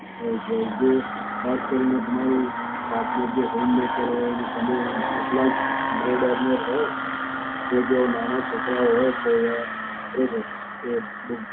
કે જે જે ખાસ કરીને તમારું partner જો homemaker હોય અને તમે એટલા જ bread earner હોવ, કે જો નાના છોકરાઓ હોત, તો એ ખરેખર એ બહુ